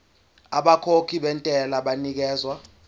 abakhokhi bentela banikezwa